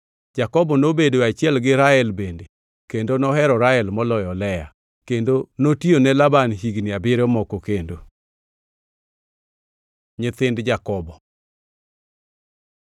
Jakobo nobedoe achiel gi Rael bende kendo nohero Rael moloyo Lea. Kendo notiyone Laban higni abiriyo moko kendo. Nyithind Jakobo